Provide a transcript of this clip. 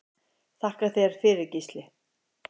Þakka þér fyrir Gísli.